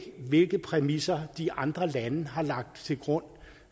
hvilke præmisser de andre lande har lagt til grund